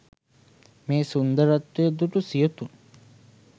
මේ සුන්දරත්වය දුටු සියොතුන්